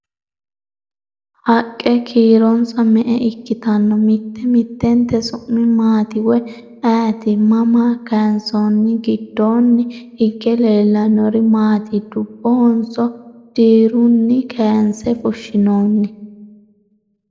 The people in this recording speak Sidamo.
Haqqe kiironsa me'e ikkitanno? Mitte mittentte su'mi maatti woyi ayiitti? Mama kayiinsoonni? gidoonni hige leelannori maatti? Dubbohonso diruunni kaayinse fushshinnoonni?